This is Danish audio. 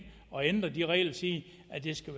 og ændre de regler og sige at det skal